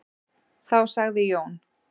Þá sagði Jón: